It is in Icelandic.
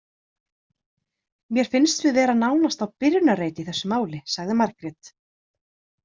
Mér finnst við vera nánast á byrjunarreit í þessum máli, sagði Margrét.